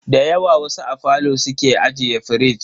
Dayawa wasu a falo suke ajiye firij.